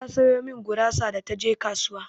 Ta sayo min gurasa da taje kasuwa.